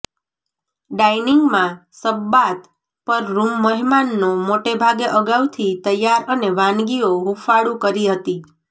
dining માં Shabbat પર room મહેમાનો મોટે ભાગે અગાઉથી તૈયાર અને વાનગીઓ હૂંફાળું કરી હતી